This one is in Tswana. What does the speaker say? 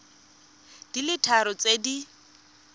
di le tharo tse di